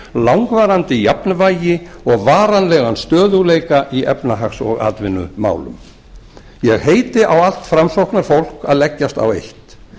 langvarandi jafnvægi og varanlegan stöðugleika í efnahags og atvinnumálum ég heiti á allt framsóknarfólk að leggjast á eitt